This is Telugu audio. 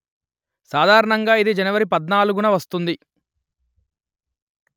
సాధారణంగా ఇది జనవరి పధ్నాలుగు న వస్తుంది